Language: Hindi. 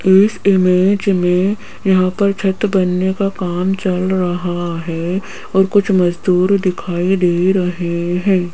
इस इमेज में यहां पर छत बनने का काम चल रहा है और कुछ मजदूर दिखाई दे रहे हैं।